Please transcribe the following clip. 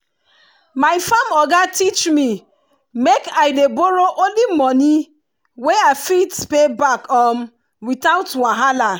my farm oga teach me make i dey borrow only money wey i fit pay back um without wahala.